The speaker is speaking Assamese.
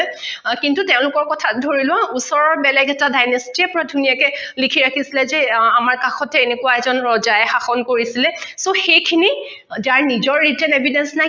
আহ কিন্তু তেওঁলোকৰ কথা ধৰি লোৱা ওচৰৰ বেলেগ এটা dynasty য়ে বৰ ধুনীয়াকৈ লিখি ৰাখিছিলে যে আমাৰ কাষতে এনেকোৱা এজন ৰজাই শাষন কৰিছিলে so সেইখিনি যাৰ নিজৰ written evidence নাই